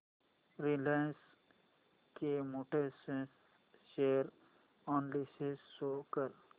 Reliance Chemotex share analysis show कर